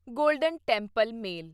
golden temple male